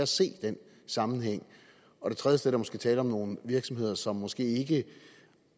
se den sammenhæng og et tredje sted er der måske tale om nogle virksomheder som måske ikke